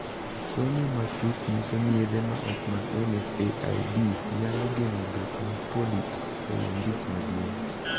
Somo matut nyiso ni yedhe ma ok mag NSAIDs nyalo geng'o bet mag 'polyps' ei ombich maduong'.